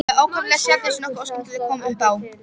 Það var ákaflega sjaldan sem nokkuð óskemmtilegt kom upp á.